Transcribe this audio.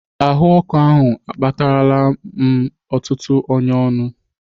Ahụọkụ ahụ akpatarala m ọtụtụ ọnyá n'ọnụ.